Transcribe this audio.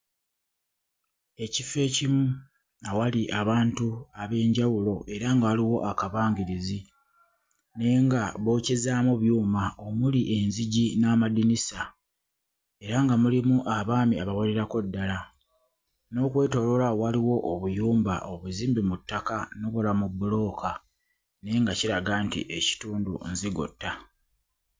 Ekifo ekimu awali abantu ab'enjawulo era nga waliwo akabangirizi naye nga bookyezaamu byuma omuli enzigi n'amadinisa era nga mulimu abaami abawererako ddala n'okwetooloola awo waliwo obuyumba obuzimbe mu ttaka n'obulala mu bbulooka naye nga kiraga nti ekitundu nzigotta.